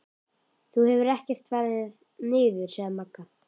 Þú hefur ekkert farið niður, sagði Magga.